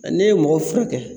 Ɛɛ ne ye mɔgɔw furakɛ